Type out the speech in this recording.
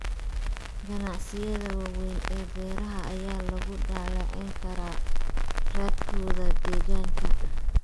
Ganacsiyada waaweyn ee beeraha ayaa lagu dhaleeceyn karaa raadkooda deegaanka.